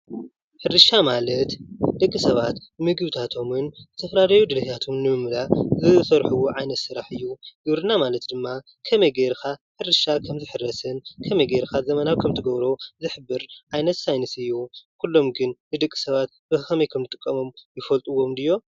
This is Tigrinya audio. ሕርሻ ማልት ደቂ ሰባት ምግብታቶም ዝተፈላለየ ድልይታቶም ንምምላእ ዝሰርሕዎ ዓይነት ስራሕ እዩ። ግብርና ማለት ድማ ከመይ ገብርካ ሕርሻ ክምዝሕረስን ከመይ ገይርካ ዘመናዊ ክትገብሮ ዝሕብር ዓይነት ሳይንስ እዩ። ኩሎም ግን ንደቂ ሰባት ብከመይ ከምዝጥቀሞም ይፈልጡዎም ድዮም?